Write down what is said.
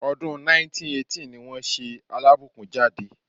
Ọdún 1918 ní wọ́n ṣe Alábùkún jáde.